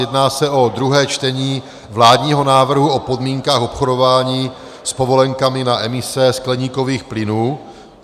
Jedná se o druhé čtení vládního návrhu o podmínkách obchodování s povolenkami na emise skleníkových plynů.